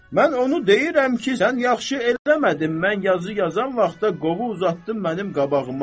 Mən onu deyirəm ki, sən yaxşı eləmədin, mən yazı yazan vaxtda qovu uzatdın mənim qabağıma.